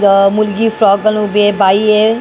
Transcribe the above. अ मुलगी फ्रॉक घालून उभी आहे बाई आहे.